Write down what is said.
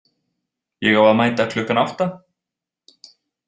Ég á að mæta klukkan átta.